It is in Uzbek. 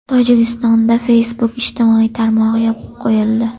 Tojikistonda Facebook ijtimoiy tarmog‘i yopib qo‘yildi.